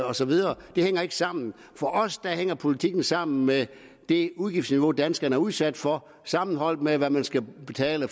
og så videre det hænger ikke sammen for os hænger politikken sammen med det udgiftsniveau danskerne er udsat for sammenholdt med hvad man skal betale